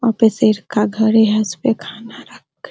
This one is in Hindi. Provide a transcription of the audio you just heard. और फिर शेर का घर है इस पे खाना रख --